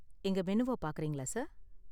எங்க மெனுவ பாக்கறீங்களா சார்?